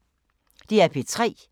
DR P3